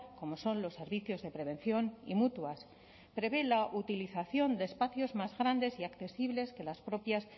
como son los servicios de prevención y mutuas prevé la utilización de espacios más grandes y accesibles que las propias